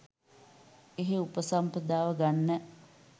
එහෙ උපසම්පදාව ගන්න